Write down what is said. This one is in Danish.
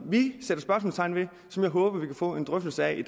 vi sætter spørgsmålstegn ved som jeg håber at vi kan få en drøftelse af i